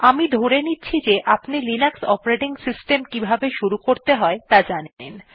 আমি ধরে নিচ্ছি যে আপনি লিনাক্স অপারেটিং সিস্টেম কিভাবে শুরু করতে হয় ত়া জানেন